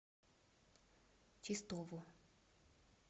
чистову